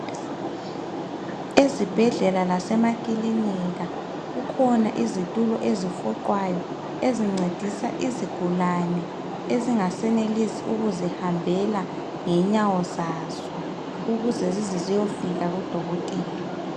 Ezibhedlela lasemakilinika kukhona izitulo ezifuqwayo ezincedisa izigulane ezingasenelisi ukuzihambela ngenyawo zazo ukuze zize ziyefika kudokotela.